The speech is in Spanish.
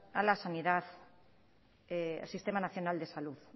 a la sanidad sistema nacional de salud